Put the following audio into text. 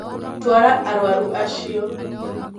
Tara arwaru acio